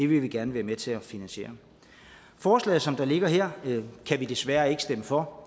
vil vi gerne være med til at finansiere forslaget som det ligger her kan vi desværre ikke stemme for